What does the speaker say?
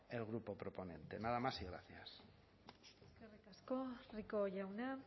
el grupo proponente nada más y gracias eskerrik asko rico jauna